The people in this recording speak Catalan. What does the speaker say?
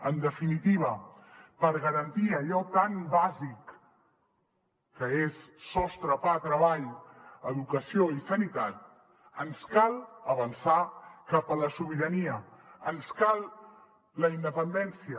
en definitiva per garantir allò tan bàsic que és sostre pa treball educació i sanitat ens cal avançar cap a la sobirania ens cal la independència